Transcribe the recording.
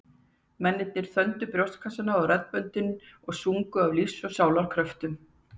Mennirnir þöndu brjóstkassana og raddböndin og sungu af lífs og sálar kröftum.